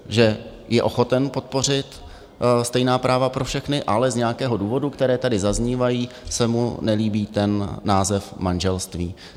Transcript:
Že je ochoten podpořit stejná práva pro všechny, ale z nějakého důvodu, které tady zaznívají, se mu nelíbí ten název manželství.